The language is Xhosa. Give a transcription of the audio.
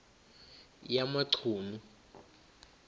yamachunu